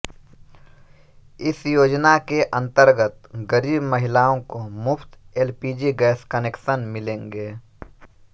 इस योजना के अंतर्गत गरीब महिलाओं को मुफ्त एलपीजी गैस कनेक्शन मिलेंगे